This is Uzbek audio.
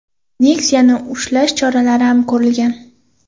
Nexia’ni ushlash choralari ham ko‘rilgan.